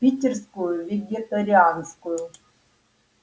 питерскую вегетарианскую